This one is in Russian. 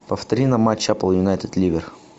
повтори нам матч эпл юнайтед ливер